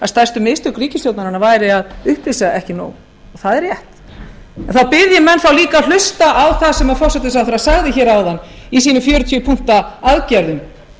að stærstu mistök ríkisstjórnarinnar væru að upplýsa ekki nóg og það er rétt en þá bið ég menn líka að hlusta á það sem forsætisráðherra sagði áðan í sínu fjörutíu punkta aðgerðum